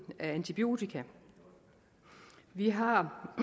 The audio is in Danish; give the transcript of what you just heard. af antibiotika vi har